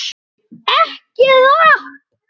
EKKI RAPP!!